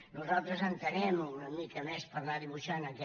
nosaltres entenem una mica més per anar dibuixant aquest